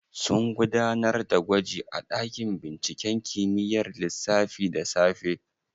Sun gudanar da gwaji a ɗakin binciken kimiyyar lissafi da safe?